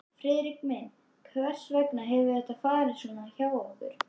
Friðrik minn, hvers vegna hefur þetta farið svona hjá okkur?